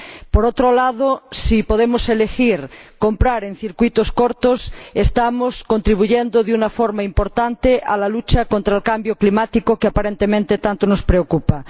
Por otro lado, si podemos elegir comprar en circuitos cortos, estamos contribuyendo de una forma importante a la lucha contra el cambio climático, que aparentemente tanto nos preocupa.